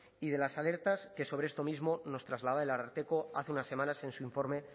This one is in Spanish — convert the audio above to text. y de las alertas que sobre esto mismo nos trasladaba el ararteko hace unas semanas en su informe